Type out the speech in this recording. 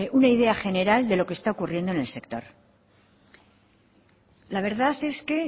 una idea general de lo que está ocurriendo en el sector la verdad es que